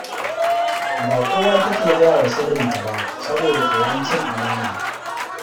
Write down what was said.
Ba kowa take gaya wa sirrinta ba saboda tsoron cin amana